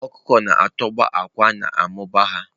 Ọkụkọ na-atọgbọ àkwá na-amụba ha.